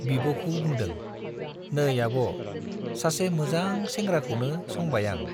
बिब' खौ बुंदों , नै आब', सासे मोजां सेंग्राखौनो संबाय आं।